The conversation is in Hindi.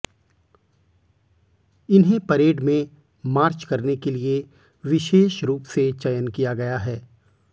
इन्हें परेड में मार्च करने के लिए विशेष रूप से चयन किया गया है